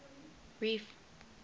reef